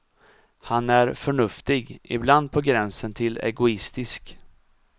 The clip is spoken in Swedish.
Han är förnuftig, ibland på gränsen till egoistisk.